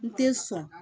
N te sɔn